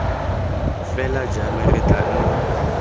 fela jalo re tla nna